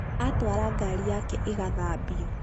atwara ngari yake ĩgathambio